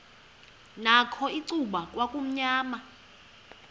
nakho icuba kwakumnyama